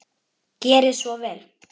Gerið svo vel.